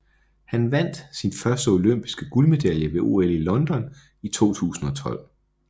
Han vandt sin første olympiske guldmedalje ved OL i London i 2012